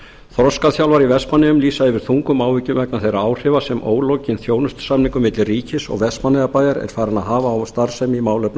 þroskaþjálfar í vestmannaeyjum lýsa yfir þungum áhyggjum vegna þeirra áhrifa sem ólokinn þjónustusamningur milli ríkis og vestmannaeyjabæjar er farinn að hafa á starfsemi í málefnum